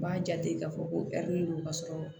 N b'a jate k'a fɔ ko don ka sɔrɔ